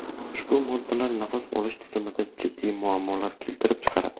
Ushbu moddalar nafas olish tizimida jiddiy muammolar keltirib chiqaradi.